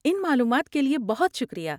ان معلومات کے لیے بہت شکریہ۔